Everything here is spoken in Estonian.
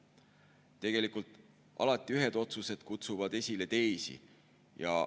Tegelikult alati kutsuvad ühed otsused esile teisi.